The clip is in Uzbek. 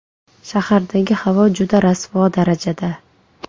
Shahardagi havo juda rasvo darajada.